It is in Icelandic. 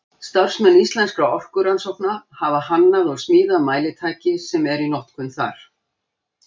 Starfsmenn Íslenskra orkurannsókna hafa hannað og smíðað mælitæki sem eru í notkun þar.